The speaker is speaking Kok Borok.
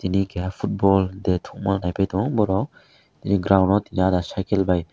tini keha football de thungma naiphai tongo borok ground o tini ahda cycle bai.